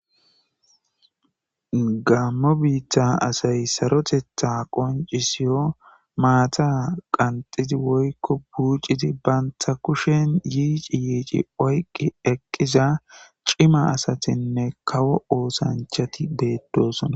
Gamo biththa assayi sarothethaza qoncisiyyo maththavqanxidi woykko buccidi bantta kushen yicci yicci eqiza cimma assathinne kawo ossanchathi bethossona.